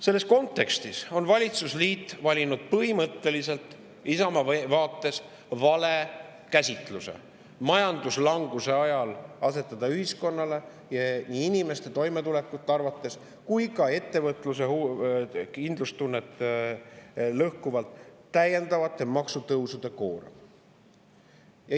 Valitsusliit on valinud Isamaa vaates põhimõtteliselt vale käsitluse, et majanduslanguse ajal asetada ühiskonnale nii inimeste toimetulekut kui ka ettevõtluse kindlustunnet lõhkuvate täiendavate maksutõusude koorem.